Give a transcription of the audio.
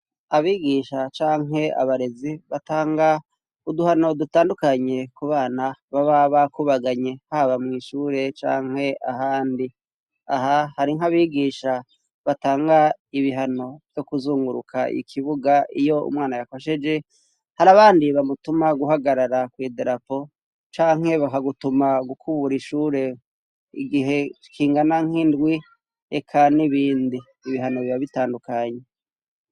Abigisha canke abarezi batanga uduhano dutandukanye ku bana baba bakubaganye, haba mw'ishure canke ahandi aha hari nk'abigisha batanga ibihano vyo kuzunguruka ikibuga iyo umwana yakosheje, hari abandi bamutuma guhagarara ku idarapo canke baka gutuma gukubura ishure igihe kingana nk'indwi reka n'ibindi ibihano biba bitandukanye.